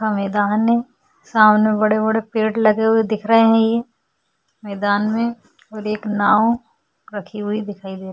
वहाँ मैदान है सामने बड़े-बड़े पेड़ लगे हुए दिख रहे हैं ये मैदान में और एक नाव रखी हुई दिखाई दे --